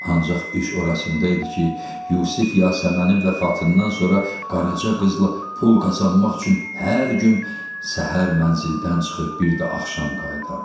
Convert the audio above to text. Ancaq iş orasında idi ki, Yusif Yasəmənin vəfatından sonra Qaraca qızla pul qazanmaq üçün hər gün səhər mənzildən çıxıb bir də axşam qayıdardı.